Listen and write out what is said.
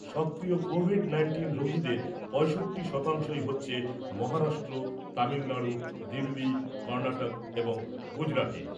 সক্রিয় covid nineteen রোগীদের পঁয়ষট্টি শতাংশই হচ্ছে মহারাষ্ট্র , তামিলনাড়ু , দিল্লি , কর্ণাটক এবং গুজরাটে।